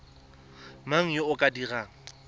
mang yo o ka dirang